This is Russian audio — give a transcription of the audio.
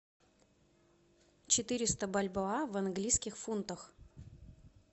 четыреста бальбоа в английских фунтах